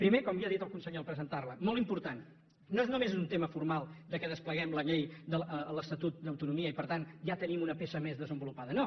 primer com ja ha dit el conseller en presentarla molt important no és només un tema formal que despleguem la llei d’acord amb l’estatut d’autonomia i per tant ja tenim una peça més desenvolupada no